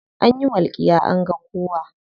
Anyi walƙiya an ga kowa.